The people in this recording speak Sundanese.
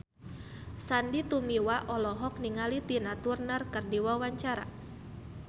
Sandy Tumiwa olohok ningali Tina Turner keur diwawancara